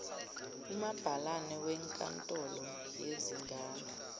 umabhalane wenkantolo yezingane